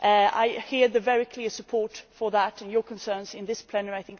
I hear the very clear support for that and your concerns in this House.